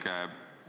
Härra Kiik!